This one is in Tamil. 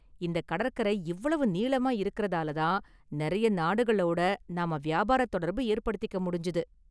இந்தக் கடற்கரை இவ்வளவு நீளமா இருக்கிறதால தான் நிறைய நாடுகளோட நாம வியாபாரத் தொடர்பு ஏற்படுத்திக்க முடிஞ்சது.